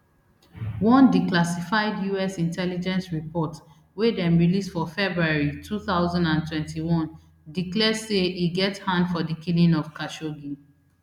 one declassified us intelligence report wey dem release for february two thousand and twenty-one declare say e get hand for di killing of khashoggi